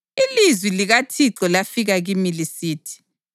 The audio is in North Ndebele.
Ilizwi likaThixo lafika kimi lisithi: